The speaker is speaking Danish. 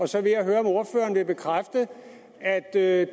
så vil jeg høre om ordføreren vil bekræfte at det er